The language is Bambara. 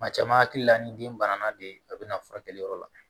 Maa caman hakilila ni den banana de a bɛna furakɛli yɔrɔ la